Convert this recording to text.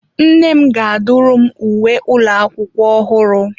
Nne m ga-adụrụ m uwe ụlọ akwụkwọ ọhụrụ.